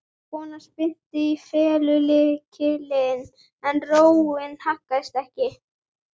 Konan spyrnti í felgulykilinn en róin haggaðist ekki.